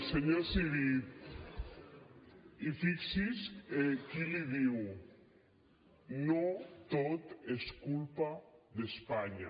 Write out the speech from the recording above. senyor civit i fixi’s qui l’hi diu no tot és culpa d’espanya